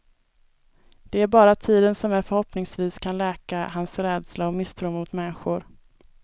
Det är bara tiden som förhoppningsvis kan läka hans rädsla och misstro mot människor.